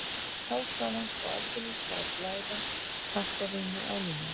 Þá skal hann sko aldeilis fá að blæða kampavíni á línuna.